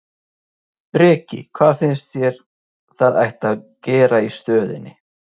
Breki: Hvað finnst þér að ætti að gera í stöðunni?